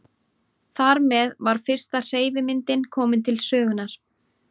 Þar með var fyrsta hreyfimyndin komin til sögunnar.